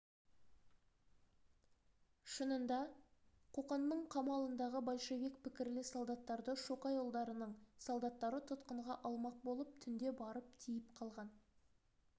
шынында қоқанның қамалындағы большевик пікірлі солдаттарды шоқайұлдарының солдаттары тұтқынға алмақ болып түнде барып тиіп қалған